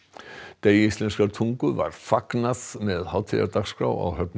degi íslenskrar tungu var fagnað með hátíðardagskrá á Höfn í